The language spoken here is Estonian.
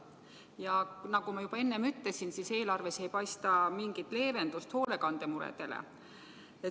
Nagu ma juba enne ütlesin, ei paista eelarves mingit leevendust hoolekandemuredele.